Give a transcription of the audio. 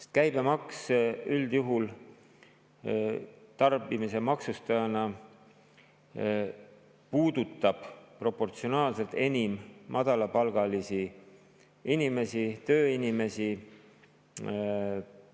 Sest käibemaks üldjuhul puudutab tarbimise maksustajana proportsionaalselt enim madalapalgalisi inimesi, tööinimesi,